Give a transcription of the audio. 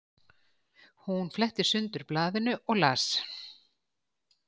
Hún fletti sundur blaðinu og las